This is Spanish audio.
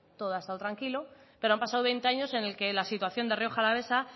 todo ha estado tranquilo pero han pasado veinte años en los que la situación de rioja alavesa